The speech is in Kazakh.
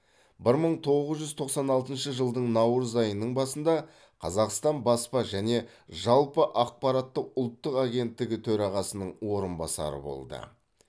бір мың тоғыз жүз тоқсан алтыншы жылдың наурыз айының басында қазақстан баспа және жалпы ақпараты ұлттық агенттігі төрағасының орынбасары болды